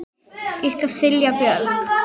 Ykkar Silja Björk.